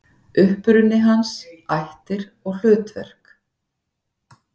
Uppruni hans, ættir og hlutverk.